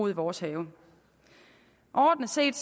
i vores have overordnet set